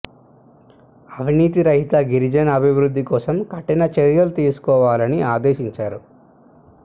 అవినీతి రహిత గిరిజన అభివృద్ధి కోసం కఠిన చర్యలు తీసుకోవాలని ఆదేశించారు